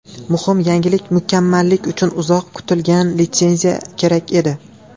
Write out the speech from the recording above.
Muhim yangilik Mukammallik uchun uzoq kutilgan litsenziya kerak edi.